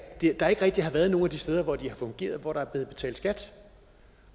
der ikke rigtig har været nogen af de steder hvor de har fungeret hvor der er blevet betalt skat